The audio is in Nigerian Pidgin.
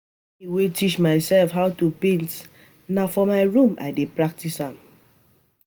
Na me wey teach myself how to paint na for my room I dey practice am